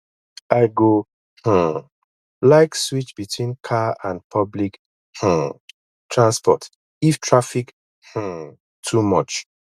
i go um like switch between car and public um transport if traffic um too much